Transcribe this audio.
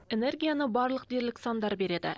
энергияны барлық дерлік сандар береді